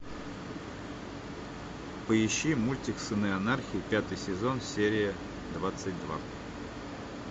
поищи мультик сыны анархии пятый сезон серия двадцать два